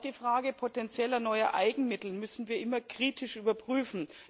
Auch die Frage potentieller neuer Eigenmittel müssen wir immer kritisch überprüfen.